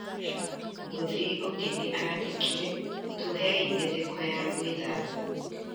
mũthii ũngi ni andĩkire"tũhei mĩtheko ya gwĩthamba,"